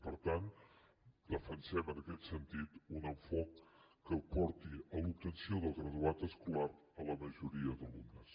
per tant defensem en aquest sentit un enfocament que porti a l’obtenció del graduat escolar a la majoria d’alumnes